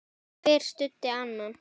Hver studdi annan.